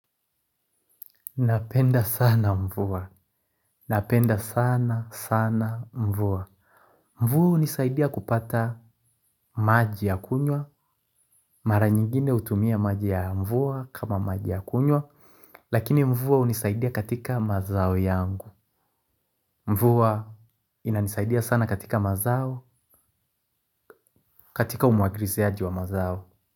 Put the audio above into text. Napenda sana mvua. Napenda sana sana mvua. Mvua unisaidia kupata maji ya kunywa, mara nyingine hutumia maji ya mvua kama maji ya kunywa, lakini mvua hunisaidia katika mazao yangu. Mvua inanisaidia sana katika mazao, katika umwagriziaji wa mazao.